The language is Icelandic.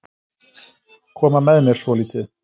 Koma með mér svolítið.